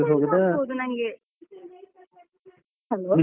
ಆಗಬೋದು ನಂಗೆ. hello